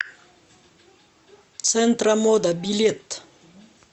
центромода билет